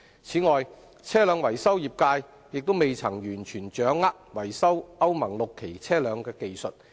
此外，車輛維修業界亦未完全掌握維修歐盟 VI 期車輛的技術。